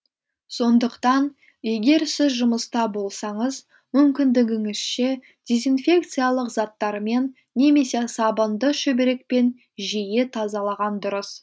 сондықтан егер сіз жұмыста болсаңыз мүмкіндігіңізше дезинфекциялық заттармен немесе сабынды шүберекпен жиі тазалаған дұрыс